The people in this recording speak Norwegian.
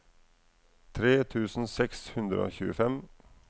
tre tusen seks hundre og tjuefem